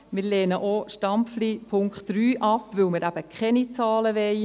Wir lehnen auch Stampfli Punkt 3 ab, weil wir eben keine Zahlen wollen.